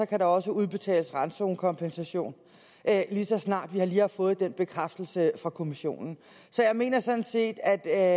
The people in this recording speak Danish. kan der også udbetales randzonekompensation lige så snart vi har fået den bekræftelse fra kommissionen så jeg mener sådan set at